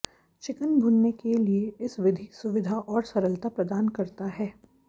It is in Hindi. चिकन भुनने के लिए इस विधि सुविधा और सरलता प्रदान करता है